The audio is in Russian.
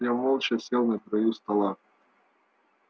я молча сел на краю стола